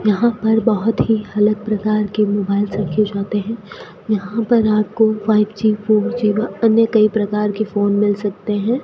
यहां पर बहोत ही अलग प्रकार के मोबाइल्स रखे जाते हैं यहां पर आपको फाइवजी फोरजी व अन्य कई प्रकार के फोन मिल सकते हैं।